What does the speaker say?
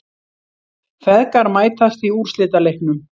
Feðgar mætast í úrslitaleiknum